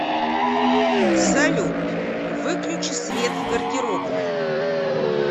салют выключи свет в гардеробной